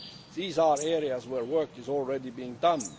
These are areas where work is already being done.